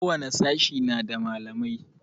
Ko wani sashe na da malamai